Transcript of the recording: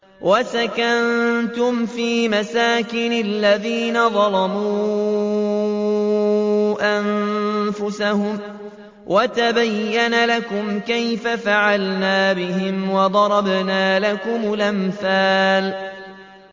وَسَكَنتُمْ فِي مَسَاكِنِ الَّذِينَ ظَلَمُوا أَنفُسَهُمْ وَتَبَيَّنَ لَكُمْ كَيْفَ فَعَلْنَا بِهِمْ وَضَرَبْنَا لَكُمُ الْأَمْثَالَ